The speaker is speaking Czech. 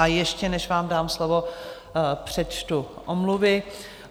A ještě než vám dám slovo, přečtu omluvy.